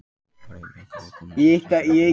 Friðlaugur, ég kom með sextíu og þrjár húfur!